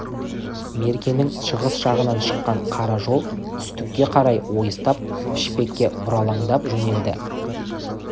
меркенің шығыс жағынан шыққан қара жол түстікке қарай ойыстап пішпекке бұралаңдап жөнелді